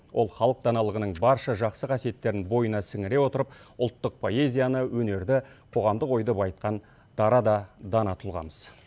ол халық даналығының барша жақсы қасиеттерін бойына сіңіре отырып ұлттық поэзияны өнерді қоғамдық ойды байытқан дара да дана тұлғамыз